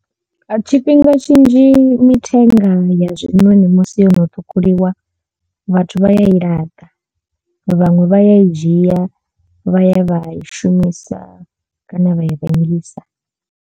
Tshifhinga tshinzhi mithenga ya zwinoni musi yono ṱhukhuliwa vhathu vha ya i laṱa vhaṅwe vha ya i dzhia vha ya vha i shumisa kana vha i rengisa.